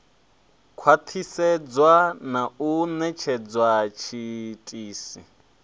khwathisedzwa na u netshedza tshiitisi